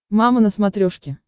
мама на смотрешке